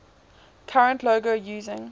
current logo using